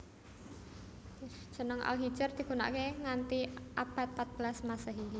Jeneng Al Hijr digunakake nganti abad pat belas Masehi